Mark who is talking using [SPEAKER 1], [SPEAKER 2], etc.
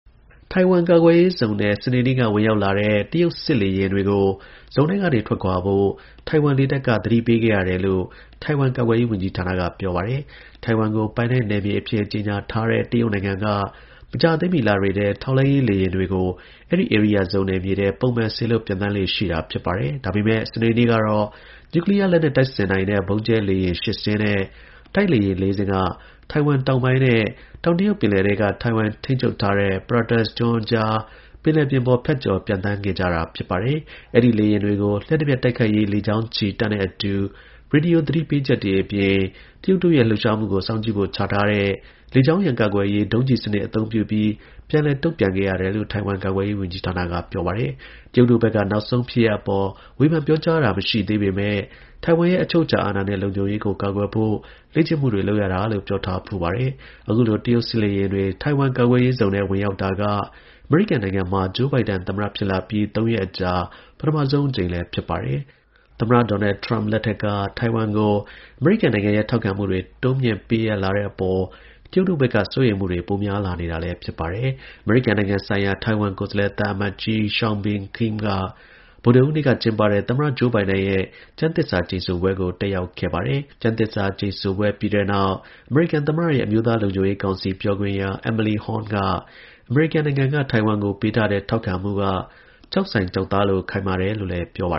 [SPEAKER 1] ထိုင်ဝမ်ကာကွယ်ရေးဇုန်ထဲ စနေနေ့က ဝင်ရောက်လာတဲ့ တရုတ် စစ်လေယာဉ်တွေကို ဇုန်ထဲကနေ ထွက်ခွာဖို့ ထိုင်ဝမ်လေတပ်က သတိပေးခဲ့ရတယ်လို့ ထိုင်ဝမ် ကာကွယ်ရေးဝန်ကြီးဌာနက ပြောပါတယ်။ ထိုင်ဝမ်ကို ပိုင်နက်နယ်မြေအဖြစ် ကြေညာထားတဲ့ တရုတ်နိုင်ငံက မကြာသေးမီ လတွေထဲ ထောက်လှမ်းရေး လေယာဉ်တစင်း ဒါမှမဟုတ် နှစ်စင်းလောက်ကို အဲဒီ ဧရိယာဇုန် နယ်မြေထဲ ပုံမှန်စေလွှတ် ပျံသန်းလေ့ရှိတာပါ။ ဒါပေမယ့် စနေနေ့ကတော့ နျူကလီးယားလက်နက် တပ်ဆင်နိုင်တဲ့ ဗုံးကြဲလေယာဉ် ၈ စင်းနဲ့ တိုက်လေယာဉ် ၄ စင်းက ထိုင်ဝမ်တောင်ပိုင်းနဲ့ တောင်တရုတ်ပင်လယ်ပြင်ထဲက ထိုင်ဝမ်ထိန်းချုပ်ထားတဲ့ Pratas ကျွန်းအကြား ပင်လယ်ပြင်ပေါ် ဖြတ်ကျော် ပျံသန်းခဲ့တာပါ။ အဲဒီလေယာဉ်တွေကို လျှပ်တပြက်တိုက်ခိုက်ရေး လေကြောင်းချီ တပ်နဲ့အတူ ရေဒီယို သတိပေးချက်တွေအပြင် တရုတ်တို့ရဲ့ လှုပ်ရှားမှုကို စောင့်ကြည့်ဖို့ ချထားတဲ့ လေကြောင်းရန်ကာကွယ်ရေး ဒုံးကျည်စနစ် အသုံးပြုပြီး ပြန်လည် တုံ့ပြန်ခဲ့ရတယ်လို့ ထိုင်ဝမ် ကာကွယ်ရေးဝန်ကြီးဌာနက ပြောပါတယ်။ တရုတ်တို့ဘက်က နောက်ဆုံးဖြစ်ရပ်အပေါ် ဝေဖန်ပြောကြားတာ မရှိသေးပေမယ့် ထိုင်ဝမ်ရဲ့ အချုပ်အခြာအာဏာနဲ့ လုံခြုံရေးကို ကာကွယ်ဖို့ လေ့ကျင့်မှုတွေ လုပ်ရတာလို့ ပြောထားဖူးပါတယ်။ အခုလို တရုတ်စစ်လေယာဉ်တွေ ထိုင်ဝမ် ကာကွယ်ရေးဇုန်ထဲ ဝင်ရောက်တာက အမေရိကန်နိုင်ငံမှာ Joe Biden သမ္မတဖြစ်လာပြီး ၃ ရက်အကြာ ပထမဆုံးအကြိမ် ဖြစ်ပါတယ်။ သမ္မတ ဒေါ်နယ် Trump လက်ထက်က ထိုင်ဝမ်ကို အမေရိကန်ရဲ့ ထောက်ခံမှုတွေ တိုးမြှင့်ပေးအပ်လာနေတဲ့အပေါ် တရုတ်တို့ဘက်က စိုးရိမ်မှုတွေ ပိုများလာနေခဲ့တာပါ။ အမေရိကန်နိုင်ငံဆိုင်ရာ ထိုင်ဝမ်ကိုယ်စားလှယ် သံအမတ်ကြီး Hsiao Bi-khim က ဗုဒ္ဓဟူးနေ့က ကျင်းပတဲ့ သမ္မတ Joe Biden ရဲ့ ကျမ်းသစ္စာကျိန်ဆိုပွဲကို တက်ရောက်ခဲ့ပါတယ်။ ကျမ်းသစ္စာကျိန်ဆိုပွဲ ပြီးတဲ့နောက် သမ္မတရဲ့ အမျိုးသားလုံခြုံရေးကောင်စီ ပြောခွင့်ရ Emily Horne က အမေရိကန်က ထိုင်ဝမ်ကိုပေးတဲ့ ထောက်ခံမှုက ကျောက်စိုင်ကျောက်သားလို ခိုင်မြဲတယ်လို့ ပြောပါ